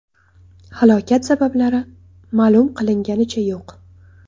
Halokat sabablari ma’lum qilinganicha yo‘q.